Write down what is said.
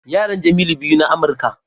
Yaran Jemilu biyu na Amurka.